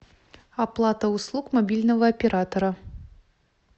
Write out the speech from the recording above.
оплата услуг мобильного оператора